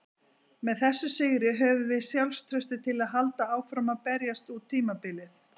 Með þessum sigri höfum við sjálfstraustið til að halda áfram að berjast út tímabilið.